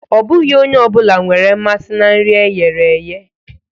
Ọ bụghị onye ọ bụla nwere mmasị na nri e ghere eghe